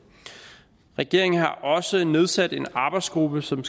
regeringen har også nedsat en arbejdsgruppe som